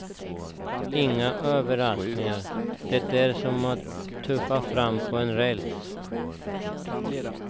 Inga överraskningar, det är som att tuffa fram på räls.